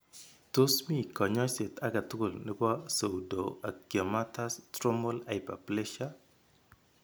Tos mi kanyoiset age tugul nebo Pseudoangiomatous Stromal hyperplasia ?